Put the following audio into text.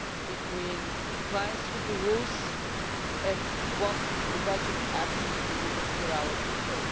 between compliance with the rules and what the budget actually delivers for our people.